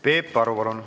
Peep Aru, palun!